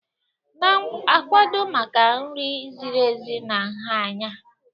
Na-akwado maka nri ziri ezi na nha anya.